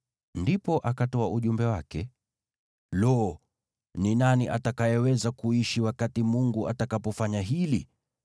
Ndipo akatoa ujumbe wake: “Lo, ni nani atakayeweza kuishi wakati Mungu atakapofanya hili?